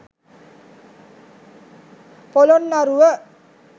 polonnaruwa